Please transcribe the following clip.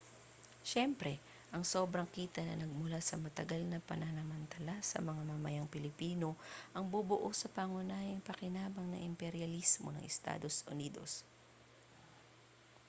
siyempre ang sobrang kita na nagmula sa matagal na pananamantala sa mga mamamayang pilipino ang bubuo sa pangunahing pakinabang ng imperyalismo ng estados unidos